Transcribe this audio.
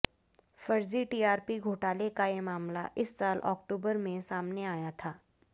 फर्जी टीआरपी घोटाले का ये मामला इस साल अक्टूबर में सामने आया था